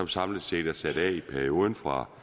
samlet set er sat af i perioden fra